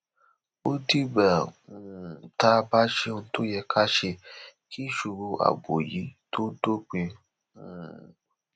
ó dìgbà um tá a bá ṣe ohun tó yẹ ká ṣe kí ìṣòro ààbò yìí tóó dópin um